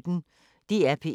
DR P1